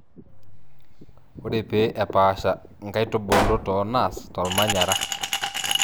ore pee epaasha inkaitubulu tonaas tolmanyara